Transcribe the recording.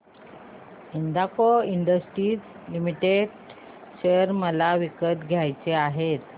Hindalco industries limited share मला विकत घ्यायचे आहेत